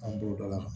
An b'o d'a ma